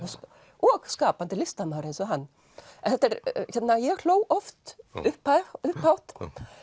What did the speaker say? og skapandi listamaður eins og hann ég hló oft upphátt upphátt